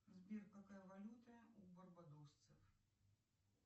сбер какая валюта у барбадосцев